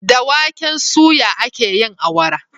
Da waken suya akeyin awara